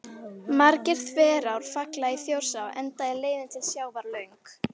Margar þverár falla í Þjórsá enda er leiðin til sjávar löng.